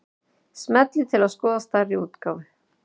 Smellið til að skoða stærri útgáfu.